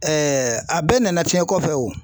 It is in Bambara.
a bɛɛ nana cɛn kɔfɛ o.